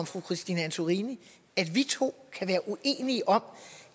fru christine antorini at vi to kan være uenige om